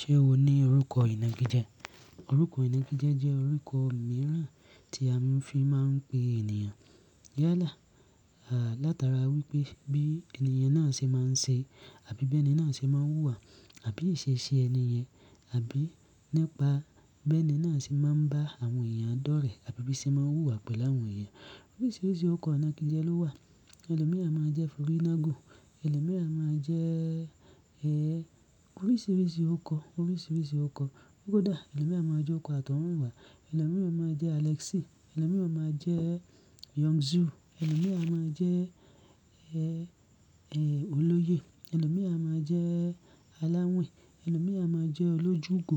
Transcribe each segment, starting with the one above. Ṣé o ní orúkọ ìnági jẹ? Orúkọ ìnági jẹ orúkọ mìíràn tí a fi máa ń pe ènìyàn yálà látara wípé bí ènìyàn náà ṣe máa ń ṣe àbí bí ènìyàn náà ṣe máa ń wùwà àbí ìṣe ṣe ènìyen àbí nípa bí ènìyàn náà ṣe máa ń bá àwọn èèyàn dọ́rẹ̀ àbí bí ṣe máa ń wùwà pẹ̀lú àwọn èèyàn. Oríṣiríṣi orúkọ ìnági jẹ ló wà. Ẹlòmíì á máa jẹ́ forínágùn, ẹlòmíì á máa jẹ́, ẹ́, oríṣiríṣi orúkọ, oríṣiríṣi orúkọ. Kódà ẹlòmíì á máa jẹ́ okò àtọ́húnwà, ẹlòmíì á máa jẹ́ Alexi, ẹlòmíì á máa jẹ́ Young Zoo, ẹlòmíì á máa jẹ́, ẹ́, ẹ́, olóye, ẹlòmíì á máa jẹ́ aláwìn, ẹlòmíì á máa jẹ́ olójúgò,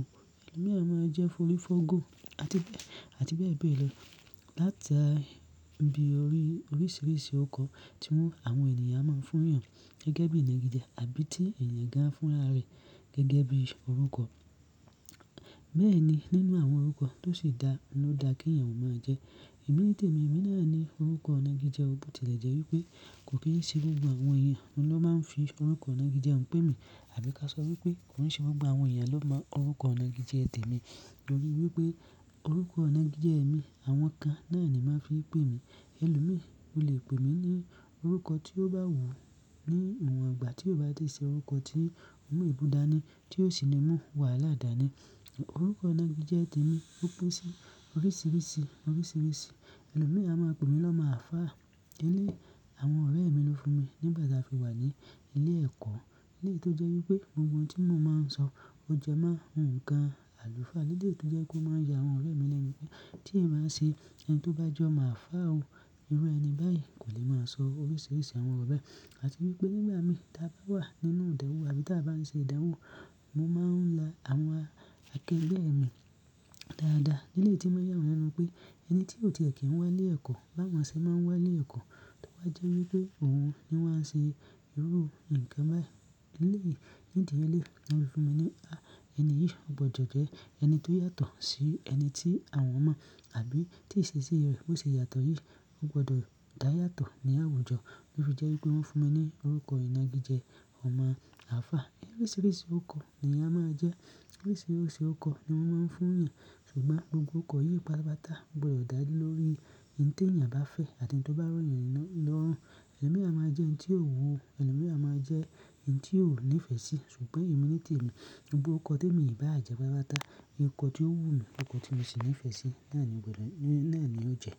ẹlòmíì á máa jẹ́ forífọ́gò àti, àti bẹ́ẹ̀ bẹ́ẹ̀ lọ. Láti bí orí-oríṣiríṣi orúkọ tí àwọn ènìyàn máa ń fún èèyàn gẹ́gẹ́ bí ìnági jẹ àbí tí ènìyàn da fúnra rẹ̀ gẹ́gẹ́ bí orúkọ. Bẹ́ẹ̀ ni nínú àwọn orúkọ tó sì dá ni o dá kí èèyàn ó máa jẹ́. Ẹ̀mí ní tèmi, ẹ̀mí náà ní orúkọ ìnági jẹ, ó bú tẹ́lẹ̀ jẹ́ wípé kò kí ń ṣe gbogbo àwọn èèyàn ló máa ń fi orúkọ ìnági fi ń pè mi àbí ká sọ wípé kò ń ṣe gbogbo àwọn èèyàn ló mọ orúkọ ìnági jẹ tèmi nítorí wípé orúkọ ìnági jẹ èmi àwọn kan náà ni máa ń fi pè mí. Ẹlòmíì o lè pè mí ní orúkọ tí ó bá wù ú ní ìwọ̀n ìgbà tí ó bá ti ṣe orúkọ tí ó mú ìbúdání tí ó sì mú wàhálà àdáni. Orúkọ ìnági jẹ tèmi ó pín sí oríṣiríṣi, oríṣiríṣi. Ẹlòmíì á máa pè mí lọmo alfà Níi àwọn ọ̀rẹ́ mi ló fún mi nígbà tí a fi wà ní ilé ẹ̀kọ́. Nílé tó jẹ́ wípé gbogbo ohun tí mo máa ń sọ ó jẹ máa ń kan àlùfáà nílé tó jẹ́ kó máa ń ya àwọn ọ̀rẹ́ mi lẹ́mí pé tí ẹ̀ bá ń ṣe ẹni tó bá jọ mo alfà o. Irú ẹni báyìí kò lè máa sọ oríṣiríṣi àwọn ọ̀rẹ́ àti wípé nígbà mí ta bá wà nínú ìdánwò àbí ta bá ń ṣe ìdánwò mo máa ń la àwọn akẹgbẹ́ mi dáadáa. Nílé tí ẹ̀ máa yàn wọ́n nínú pé ẹni tí ò ti rẹ̀ kí ń wá ilé ẹ̀kọ́ bá wọ́n ṣe máa ń wá ilé ẹ̀kọ́, tó bá jẹ́ wípé òun ni wọ́n ṣe irú nǹkan báyìí nílé. Nídi ilé wọ́n fi fún mi ní, "à ẹni yìí ó gbọdọ̀ jẹ ẹni tó yàtọ̀ sí ẹni tí àwọn mọ̀ àbí tí ìṣesí rẹ̀ ò ṣe yàtọ̀ yìí, ó gbọdọ̀ dá yàtọ̀ ní àwùjọ." Ó fi jẹ́ wípé wọ́n fún mi ní orúkọ ìnági jẹ ọmọ àlfá. Oríṣiríṣi orúkọ ni a máa jẹ́, oríṣiríṣi orúkọ ni wọ́n máa ń fún èèyàn, ṣùgbọ́n gbogbo orúkọ yí pátapata gbodo dá lórí ohun tí èèyàn bá fẹ́ àti tó bá ro yo lórùn. Ẹlòmíì á máa jẹ́ ohun tí ò wù ú, ẹlòmíì á máa jẹ́ ohun tí ò nífẹ̀ẹ́ sí, ṣùgbọ́n ẹ̀mí nítòrí èmi gbogbo orúkọ tí èniyan bá à jẹ́ bá pátapata nìkan ohun tí ó wù mí, ohun tí mo sì nífẹ̀ẹ́ sí náà ni ó jẹ́.